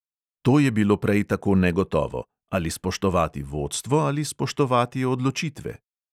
To je bilo prej tako negotovo: ali spoštovati vodstvo ali spoštovati odločitve?